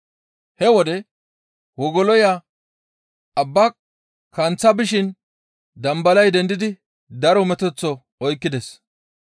He wode wogoloya abbaa kanththa bishin dambalay dendidi daro metoththo oykkides.